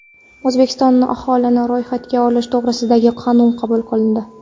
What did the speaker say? O‘zbekistonda aholini ro‘yxatga olish to‘g‘risidagi qonun qabul qilindi.